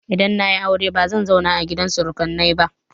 Idan na yi aure bazan zauna a gidan surukaina ba.